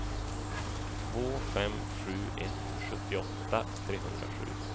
två fem sju ett sjuttioåtta trehundrasju